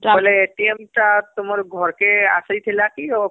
ବୋଇଲେ ଟା ତୁମର ଘରକେ ଆସିଥିଲା କି ..ଓ